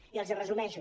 i els el resumeixo